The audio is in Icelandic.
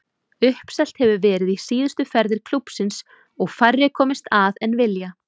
Uppselt hefur verið í síðustu ferðir klúbbsins og færri komist að en vilja.